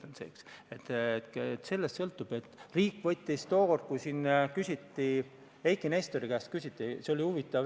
Tookord, kui see seadus arutelul oli, oli huvitav situatsioon.